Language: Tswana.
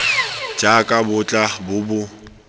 jaaka bo tla bo bo